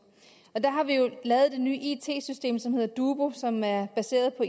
der har vi jo lavet det nye it system som hedder dubu og som er baseret på